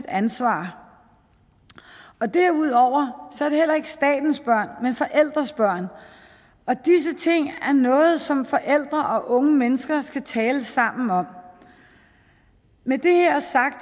ansvar derudover er det heller ikke statens børn men forældrenes børn og disse ting er noget som forældre og unge mennesker skal tale sammen om med det her sagt